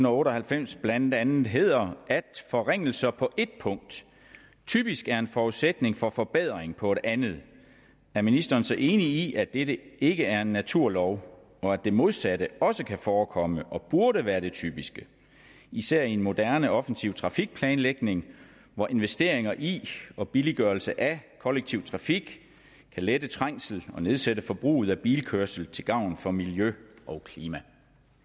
otte og halvfems blandt andet hedder at forringelser på ét punkt typisk er en forudsætning for forbedring på et andet er ministeren så enig i at dette ikke er en naturlov og at det modsatte også kan forekomme og burde være det typiske især i en moderne offensiv trafikplanlægning hvor investeringer i og billiggørelse af kollektiv trafik kan lette trængsel og nedsætte forbruget af bilkørsel til gavn for miljø og klima